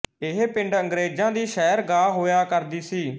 ਇਹ ਪਿੰਡ ਅੰਗਰੇਜ਼ਾਂ ਦੀ ਸੈਰਗਾਹ ਹੋਇਆ ਕਰਦੀ ਸੀ